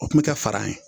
O kun bɛ kɛ fara ye